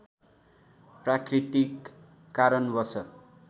प्राकृतिक कारणवश